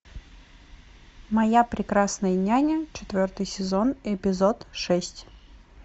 моя прекрасная няня четвертый сезон эпизод шесть